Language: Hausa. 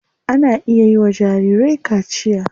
Ana iya yiwa jarirai kaciya.